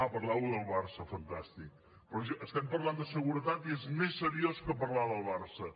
parlàveu del barça fantàstic però estem parlant de seguretat i és més seriós que parlar del barça